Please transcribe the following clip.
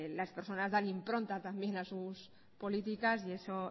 las personas dan impronta también a sus políticas y eso